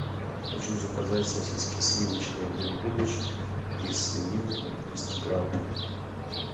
хочу заказать сосиски сливочные дым дымыч из свинины триста грамм